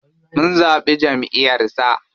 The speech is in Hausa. Mun zaɓi jamʼiyar sa.